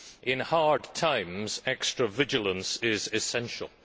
In hard times, extra vigilance is essential.